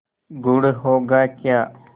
गुड़ होगा क्या